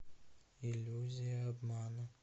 иллюзия обмана